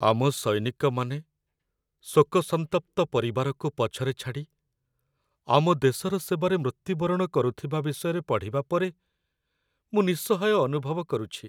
ଆମ ସୈନିକମାନେ ଶୋକସନ୍ତପ୍ତ ପରିବାରକୁ ପଛରେ ଛାଡ଼ି ଆମ ଦେଶର ସେବାରେ ମୃତ୍ୟୁବରଣ କରୁଥିବା ବିଷୟରେ ପଢ଼ିବା ପରେ ମୁଁ ନିଃସହାୟ ଅନୁଭବ କରୁଛି।